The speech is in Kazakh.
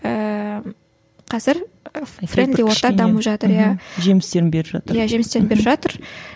ііі қазір френди орта дамып жатыр иә жемістерін беріп жатыр иә жемістерін беріп жатыр